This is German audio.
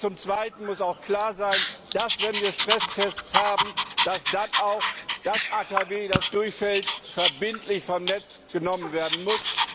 Zum Zweiten muss auch klar sein, dass, wenn wir Stresstests haben, dann auch ein AKW, das durchfällt, verbindlich vom Netz genommen werden muss.